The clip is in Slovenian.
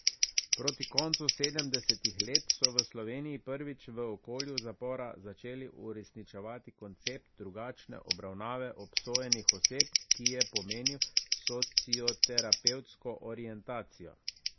Proti koncu sedemdesetih let so v Sloveniji prvič v okolju zapora začeli uresničevati koncept drugačne obravnave obsojenih oseb, ki je pomenil socioterapevtsko orientacijo.